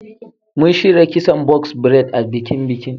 Mun shirya kison box braid a bikin.